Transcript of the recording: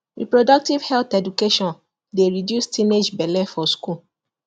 reproductive health education dey reduce teenage belle for school